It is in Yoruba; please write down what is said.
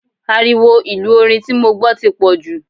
Ariwo ìlú orin tí mo gbọ́ ti pọ̀ jù.